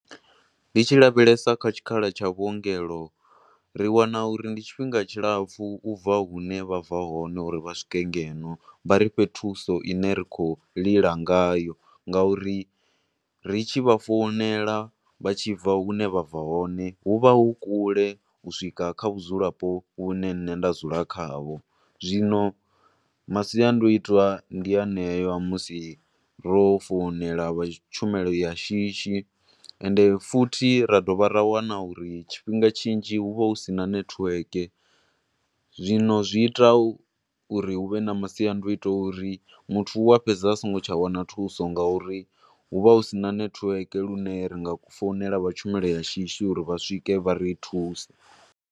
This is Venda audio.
Ndi tshi lavhelesa kha tshikhala tsha vhuongelo, ri wana uri ndi tshifhinga tshilapfu ubva hune vha bva hone uri vha swike ngeno, vha ri fhe thuso ine ri khou lila ngayo nga uri ri tshi vha founela vha tshi bva hune vha bva hone hu vha hu kule u swika kha vhudzulapo hune nne nda dzula kha ho. Zwino masiandoitwa ndi haneyo musi ro founela vha tshumelo ya shishi, ende futhi ra dovha ra wana uri tshifhinga tshinzhi hu vha hu sina network, zwino zwi ita uri hu vhe na masiandoitwa a uri muthu u a fhedza a songo tsha wana thuso, nga uri hu vha hu sina network lune ri nga founela vha tshumelo ya shishi uri vha swike vha ri thuse.